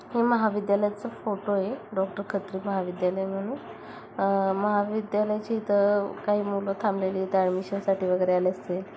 हे महाविद्याचा फोटो आहे. डॉक्टर खत्री महाविद्यालय म्हणून अह महाविद्यालयाचे इथं काही मुलं थांबलेली इथं एडमिशन साठी वगैरे आले असतील.